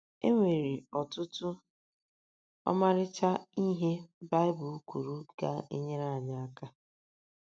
E nwere ọtụtụ ọmarịcha ihe Baịbụl kwuru ga - enyere anyị aka.